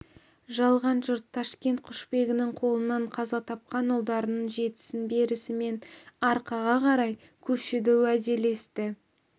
қалған жұрт ташкент құшбегінің қолынан қаза тапқан ұлдарының жетісін берісімен арқаға қарай көшуді уәделесті